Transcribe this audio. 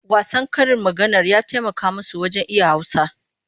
Wasan karin maganar ya taimaka musu wajen iya Hausa.